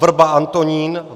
Wrba Antonín